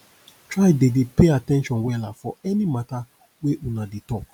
try dey dey pay at ten tion wella for any mata wey una dey talk